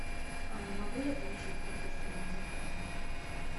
а могу я получить подтверждение заказа